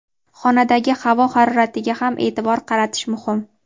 Xonadagi havo haroratiga ham e’tibor qaratish muhim.